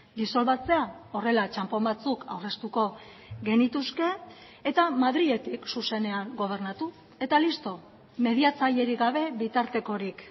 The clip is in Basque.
disolbatzea horrela txanpon batzuk aurreztuko genituzke eta madriletik zuzenean gobernatu eta listo mediatzailerik gabe bitartekorik